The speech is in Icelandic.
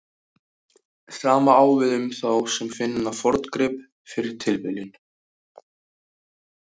Sama á við um þá sem finna forngrip fyrir tilviljun.